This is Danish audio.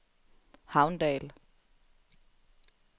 Havndal